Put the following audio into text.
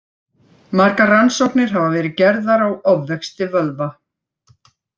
Margar rannsóknir hafa verið gerðar á ofvexti vöðva.